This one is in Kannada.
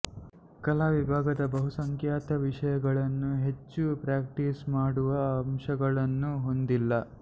ಕಲಾ ವಿಭಾಗದ ಬಹುಸಂಖ್ಯಾತ ವಿಷಯಗಳು ಹೆಚ್ಚು ಪ್ರ್ಯಾಕ್ಟೀಸ್ ಮಾಡುವ ಅಂಶಗಳನ್ನು ಹೊಂದಿಲ್ಲ